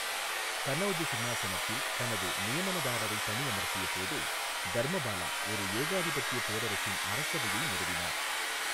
கநௌஜ் சிம்மாசனத்தில் தனது நியமனதாரரை பணி அமர்த்திய போது, தர்மபாலா ஒரு ஏகாதிபத்திய பேரரசின் அரசவையை நிறுவினார்.